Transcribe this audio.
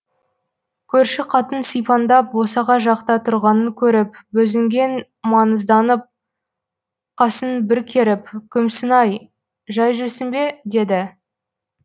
көрші қатын сипаңдап босаға жақта тұрғанын көріп бозінген маңызданып қасын бір керіп күмсінай жай жүрсің бе деді